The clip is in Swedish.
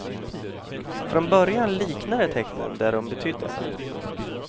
Från början liknade tecknen det de betydde.